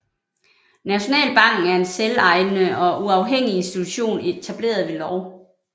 Nationalbanken er en selvejende og uafhængig institution etableret ved lov